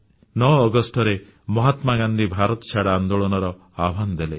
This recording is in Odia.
9 ଅଗଷ୍ଟରେ ମହାତ୍ମାଗାନ୍ଧୀ ଭାରତଛାଡ଼ ଆନ୍ଦୋଳନର ଆହ୍ୱାନ ଦେଲେ